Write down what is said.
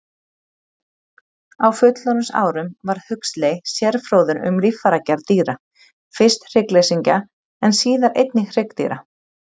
Á fullorðinsárum varð Huxley sérfróður um líffæragerð dýra, fyrst hryggleysingja en síðar einnig hryggdýra.